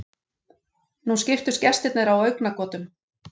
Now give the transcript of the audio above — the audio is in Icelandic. Nú skiptust gestirnir á augnagotum.